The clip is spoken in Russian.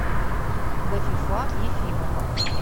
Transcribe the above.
гафифа ефимова